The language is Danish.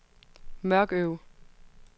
Mørkøv